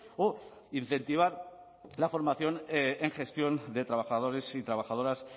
o incentivar la formación en gestión de trabajadores y trabajadoras